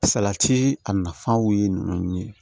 Salati a nafaw ye ninnu ye